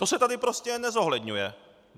To se tady prostě nezohledňuje.